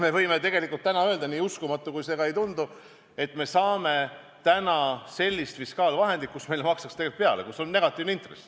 Me võime tegelikult täna öelda – nii uskumatu kui see ka ei tundu –, et me saame täna sellist fiskaalvahendit, kus meile makstakse tegelikult peale, st on negatiivne intress.